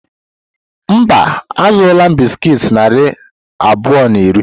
Mba, azụrụ m bisikiiti narị abụọ na iri.